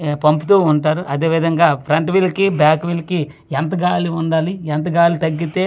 ఏ పంపుతూ ఉంటారు అదేవిధంగా ఫ్రంట్ వీల్ కి బ్యాక్ వీల్ కి ఎంత గాలి ఉండాలి ఎంత గాలి తగ్గితే --